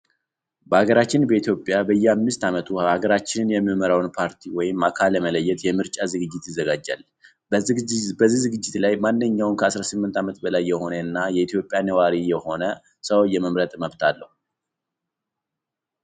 በሃገራችን በኢትዮጵያ በየአምስት አመቱ ሃገራችንን የሚመራውን ፓርቲ ወይም አካል ለመለየት የምርጫ ዝግጅት ይዘጋጃል። በዚህ ዝግጅት ላይ ማንኛውም ከ 18 አመት በላይ የሆነ እና የኢትዮጵያ ነዋሪ የሆነ ሰው የመምረጥ መብት አለው።